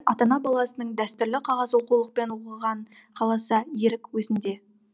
ата ана баласының дәстүрлі қағаз оқулықпен оқығанын қаласа ерік өзінде